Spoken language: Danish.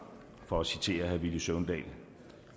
for at citere herre villy søvndal